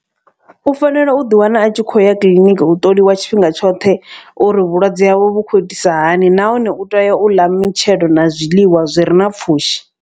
U fanela u ḓi wana a tshi khou ya kiḽiniki u ṱoliwa tshifhinga tshoṱhe. Uri vhulwadze hawe vhu khou itisa hani nahone u tea u ḽa mitshelo na zwiḽiwa zwi re na pfhushi.